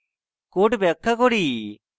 code ব্যাখ্যা করি